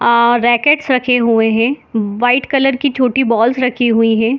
Are racket रखे हुए हैं व्हाइट कलर के बॉल्स रखी हुई हैं।